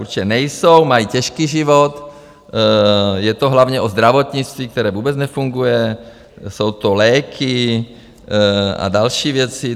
Určitě nejsou, mají těžký život, je to hlavně o zdravotnictví, které vůbec nefunguje, jsou to léky a další věci.